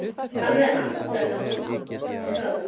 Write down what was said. Alveg aftaka vont skáld.